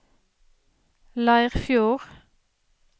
Leirfjord